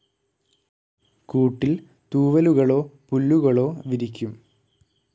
കൂട്ടിൽ തൂവലുകളോ പുല്ലുകളോ വിരിക്കും.